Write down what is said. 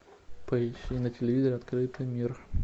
поищи на телевизоре открытый мир